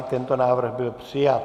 I tento návrh byl přijat.